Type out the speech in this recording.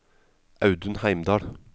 Audun Heimdal